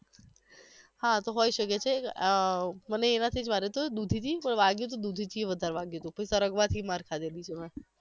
હા તો હોય શકે છે આહ મનેય એનાથી જ માર્યુ તુ દુધી થી પણ વાગ્યું હતું દુુુુુધીથીય વધારે વાગ્યુ હતુ સરગવા થી પણ માર ખાધેલી છે મે